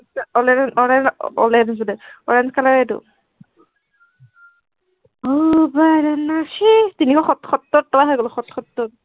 online ত online ত ওলাই থৈছো দে, orange color এইটো, তিনিশ-সত সত্তৰ টকা হৈ গল সত-সত্তৰ